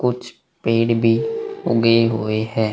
कुछ पेड़ भी उगे हुए है।